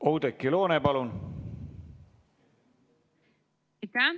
Oudekki Loone, palun!